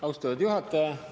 Austatud juhataja!